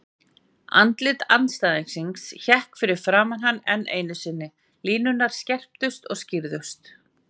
Andlit andstæðingsins hékk fyrir framan hann enn einu sinni, línurnar skerptust og skýrðust.